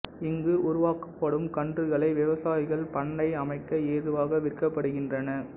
இங்கு உருவாக்கப்படும் கன்றுகளை விவசாயிகள் பண்ணை அமைக்க ஏதுவாக விற்கப்படுகின்றன